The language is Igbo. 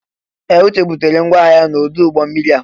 Ee! Uche butere ngwa ahịa ya n'ọdụ ụgbọ mmiri a.